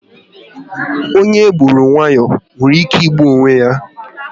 Onye e gburu wayo nwere ike ịgbu onwe ya